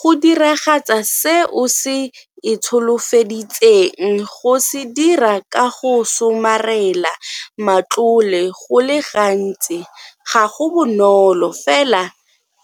Go diragatsa se o itsholofeditseng go se dira ka go somarela matlole go le gantsi ga go bonolo, fela